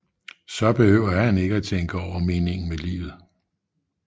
Så behøver han ikke tænke over meningen med livet